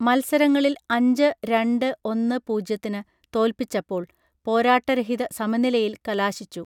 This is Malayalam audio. മൽസരങ്ങളിൽ അഞ്ച് രണ്ട് ഒന്ന് പൂജ്യത്തിന് തോൽപ്പിച്ചപ്പോൾ പോരാട്ട രഹിത സമനിലയിൽ കലാശിച്ചു